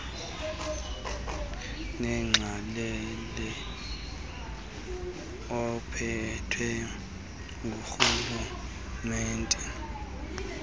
nenxalenye ephethwe ngurhulumente